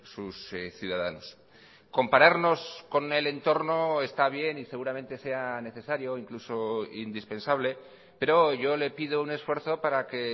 sus ciudadanos compararnos con el entorno está bien y seguramente sea necesario incluso indispensable pero yo le pido un esfuerzo para que